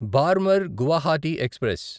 Barmer Guwahati express